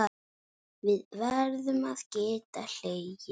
Við verðum að geta hlegið.